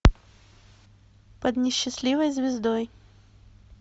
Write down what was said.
под несчастливой звездой